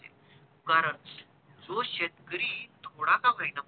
कारण तो शेतकरी थोडा का होईना मदत